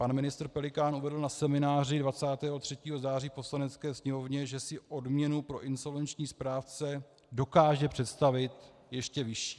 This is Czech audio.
Pan ministr Pelikán uvedl na semináři 23. září v Poslanecké sněmovně, že si odměnu pro insolvenční správce dokáže představit ještě vyšší.